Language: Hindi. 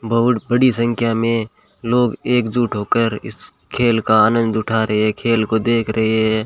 बहुड़ बड़ी संख्या में लोग एक जुट होकर इस खेल का आनंद उठा रहे हैं खेल को देख रहे हैं।